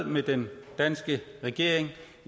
med den danske regering